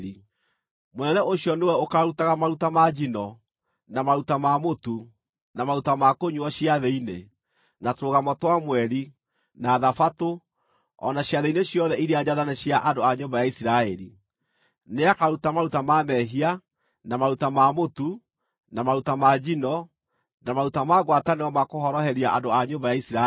Mũnene ũcio nĩwe ũkaarutaga maruta ma njino, na maruta ma mũtu, na maruta ma kũnyuuo ciathĩ-inĩ, na Tũrũgamo twa Mweri, na Thabatũ, o na ciathĩ-inĩ ciothe iria njathane cia andũ a nyũmba ya Isiraeli. Nĩakaruta maruta ma mehia, na maruta ma mũtu, na maruta ma njino, na maruta ma ngwatanĩro ma kũhoroheria andũ a nyũmba ya Isiraeli.